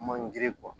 Man giri